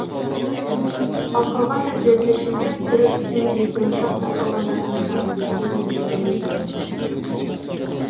ал қалған тілдердің ішінде түрік хинди он шақты қалғандарының саны беске дейін жетпейді екен